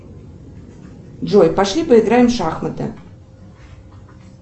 джой пошли поиграем в шахматы